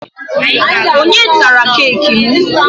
Onye tara keeki m?